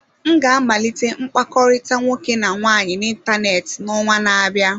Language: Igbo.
M ga-amalite mkpakọrịta nwoke na nwaanyị n'ịntanetị n'ọnwa na-abịa.